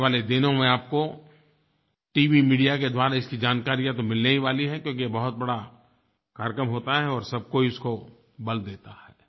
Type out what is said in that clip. आने वाले दिनों में आपको टीवी मीडिया के द्वारा इसकी जानकारियाँ तो मिलने ही वाली हैं क्योंकि ये बहुत बड़ा कार्यक्रम होता है और सब कोई इसको बल देता है